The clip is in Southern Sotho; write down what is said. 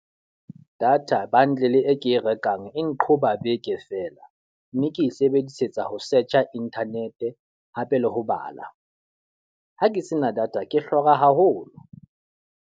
Data bundle e ke e rekang e nqhoba beke fela. Mme ke e sebedisetsa ho search internet hape le ho bala. Ha ke se na data, ke hlora haholo.